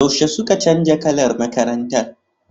Yaushe suke canza kalar makarantar?